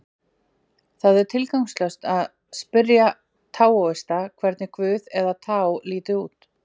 Það er því tilgangslaust að spyrja taóista hvernig guð, eða taó, líti út.